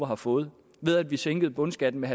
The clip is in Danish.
har fået ved at vi sænkede bundskatten med